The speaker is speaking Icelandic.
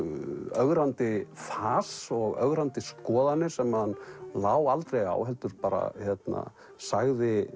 ögrandi fas og ögrandi skoðanir sem hann lá aldrei á heldur bara sagði